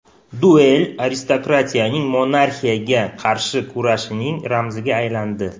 Duel aristokratiyaning monarxiyaga qarshi kurashining ramziga aylandi.